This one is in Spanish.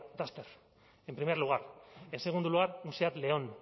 dacia duster en primer lugar en segundo lugar un seat león